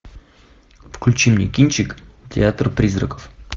включи мне кинчик театр призраков